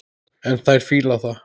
En þær fíla það.